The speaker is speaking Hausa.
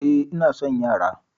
Eh, ina son yara